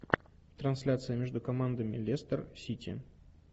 трансляция между командами лестер сити